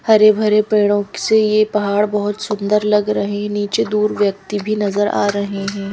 हरे भरे पेड़ों से यह पहाड़ बहुत सुंदर लग रहे नीचे दूर व्यक्ति भी नजर आ रहे हैं।